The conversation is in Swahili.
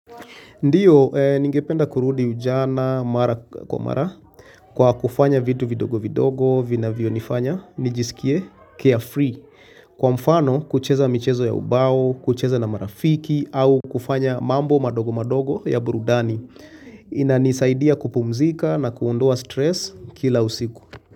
Ndio, ningependa kurudi ujana mara kwa mara kwa kufanya vitu vindogo vindogo, vinavyonifanya, nijisikie carefree. Kwa mfano, kucheza michezo ya ubao, kucheza na marafiki au kufanya mambo mandogo mandogo ya burudani. Inanisaidia kupumzika na kuondoa stress kila usiku.